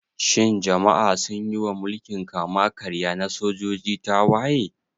Shin jama'a sun yi wa mulkin kama-karya na sojoji tawaye?